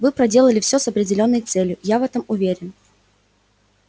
вы проделали всё с определённой целью я в этом уверен